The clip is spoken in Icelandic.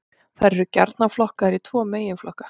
Þær eru gjarnan flokkaðar í tvo meginflokka.